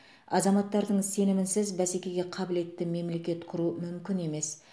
азаматтардың сенімінсіз бәсекеге қабілетті мемлекет құру мүмкін емес